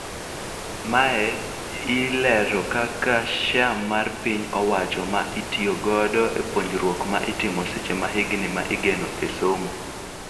Mae I leero kaka share mar piny owacho ma itiyo godo e puonjruok ma itimo seche ma higni ma igeno e somo.